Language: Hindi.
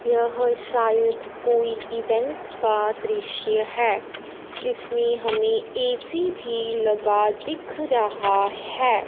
यह शायद कोई इवेंट का दृश्य है इसमें हमें ऐ_सी भी लगा दिख रहा है।